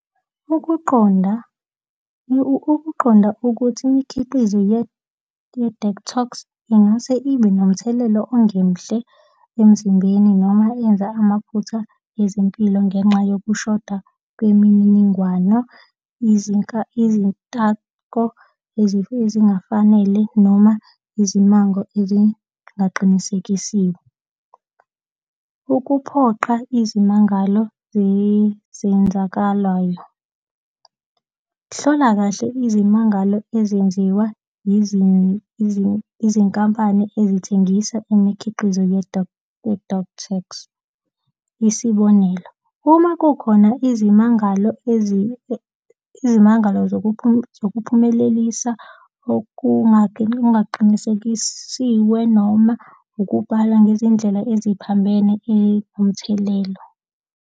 Ukuqonda ukuqonda ukuthi imikhiqizo ye-detox ingase ibe nomthelela ongemuhle emzimbeni noma yenza amaphutha yezempilo ngenxa yokushoda kwemininingwano, izintako, ezingafanele noma izimango ezingaqinisekisiwe. Ukuphoqa izimangalo zezenzakalayo. Hlola kahle izimangalo ezenziwa izinkampani ezithengisa imikhiqizo ye-detox. Isibonelo. Uma kukhona izimangalo izimangalo zokuphumelelisa okungaqinisekisiwe noma ukubala ngezindlela eziphambene inomthelelo.